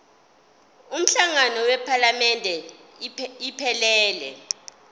umhlangano wephalamende iphelele